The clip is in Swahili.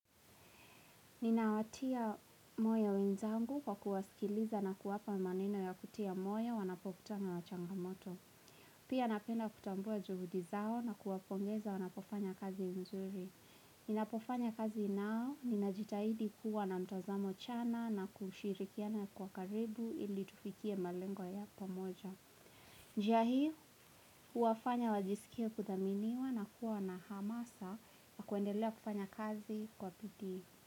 Ninawatia moyo wenzangu kwa kuwasikiliza na kuwapa maneno ya kutia moyo wanapokutana na changamoto. Pia napenda kutabua juhudi zao na kuwapongeza wanapofanya kazi nzuri. Ninapofanya kazi nao, ninajitahidi kuwa na mtazamo chana na kushirikiana kwa karibu ili tufikie malengo ya pamoja. Njia hii huwafanya wajisikie kudhaminiwa na kuwa na hamasa na kuendelea kufanya kazi kwa bidii.